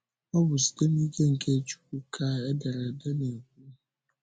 Ọ bụ site n’ike nke Chukwu ka ederede na-ekwu.